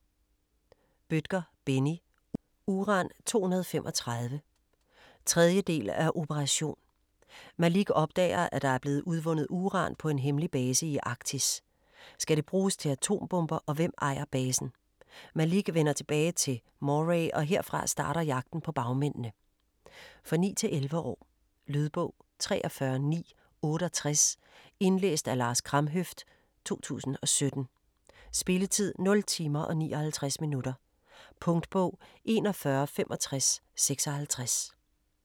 Bødker, Benni: Uran-235 3. del af Operation. Malik opdager, at der bliver udvundet uran på en hemmelig base i Arktis. Skal det bruges til atombomber, og hvem ejer basen? Malik vender tilbage til Moray, og herfra starter jagten på bagmændene. For 9-11 år. Lydbog 43968 Indlæst af Lars Kramhøft, 2017. Spilletid: 0 timer, 59 minutter. Punktbog 416556 2017. 1 bind.